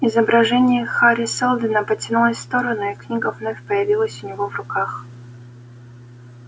изображение хари сэлдона потянулось в сторону и книга вновь появилась у него в руках